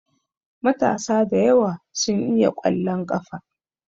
Matasa da yawa su iya ƙwallon ƙafa.